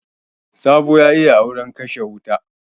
Sabo ya yi auren kashe wuta.